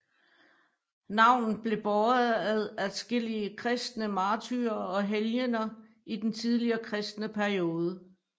Navnet blev båret af adskillige kristne martyrer og helgener i den tidlige kristne periode